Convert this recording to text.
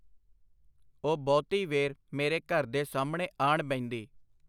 ਉਹ ਬਹੁਤੀ ਵੇਰ ਮੇਰੇ ਘਰ ਦੇ ਸਾਹਮਣੇ ਆਣ ਬਹਿੰਦੀ.